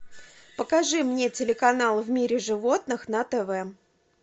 покажи мне телеканал в мире животных на тв